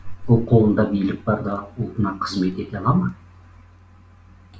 ол қолында билік барда ұлтына қызмет ете ала ма